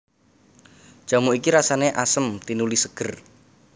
Jamu iki rasané asem tinuli ségér